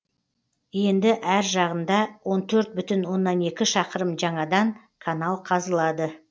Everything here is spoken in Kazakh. енді әр жағында он төрт бүтін оннан екі шақырым жаңадан канал қазылады